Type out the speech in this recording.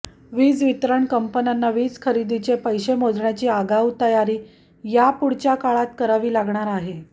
वीज वितरण कंपन्यांना वीज खरेदीचे पैसे मोजण्याची आगाऊ तयारी यापुढच्या काळात करावी लागणार आहे